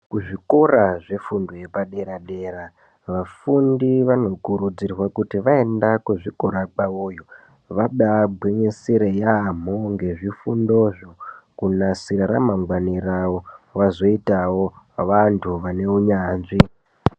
Kuzvikora zvefundo yepadera-dera vafundi vanokurudzirwa kuti vaenda kuzvikora kwavoyo vabagwinyisire yaamho ngezvifundozvo kunasira ramangwani ravo. Vazoitawo vantu vane unyanzvi.